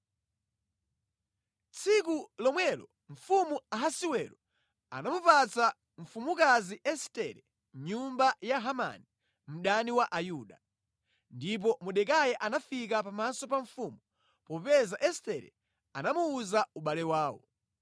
Tsiku lomwelo mfumu Ahasiwero anamupatsa mfumukazi Estere nyumba ya Hamani, mdani wa Ayuda. Ndipo Mordekai anafika pamaso pa mfumu, popeza Estere anamuwuza ubale wawo.